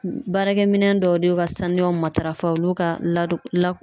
Baarakɛminɛ dɔw de y'u ka saniyaw matarafa olu ka ladon